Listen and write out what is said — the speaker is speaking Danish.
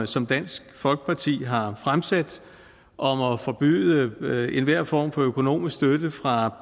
som dansk folkeparti har fremsat om at forbyde enhver form for økonomisk støtte fra